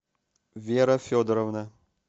вера федоровна